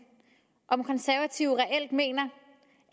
om konservative reelt mener